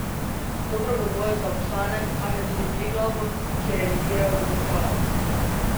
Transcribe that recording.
Dobro v boju za obstanek kaže tudi Triglavu, ki je remiziral v Domžalah.